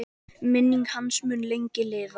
Minning hans mun lengi lifa.